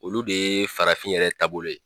Olu de ye farafin yɛrɛ taabolo ye.